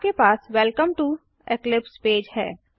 आपके पास welcome to Eclipse page है